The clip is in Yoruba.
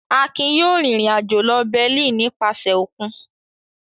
Akin yóò rìnrìn-àjò lọ Berlin nípasẹ̀ òkun.